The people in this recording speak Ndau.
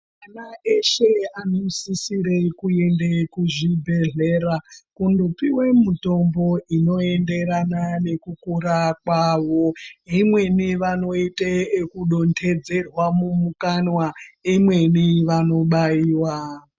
Ana eshe anosisira kuenda kuchibhedhlera kundopiwa mitombo inoenderana nekukura kwavo imweni vanoita yekudonhedzerwa mukanwa imweni vanobaiwa.